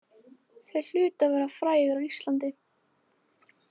Þeir hlutu að vera frægir á Íslandi.